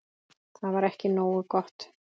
Þetta var ekki nógu gott.